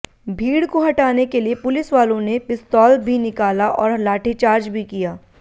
भीड़ को हटाने के लिए पुलिसवालों ने पिस्तौल भी निकाला और लाठीचार्ज भी किया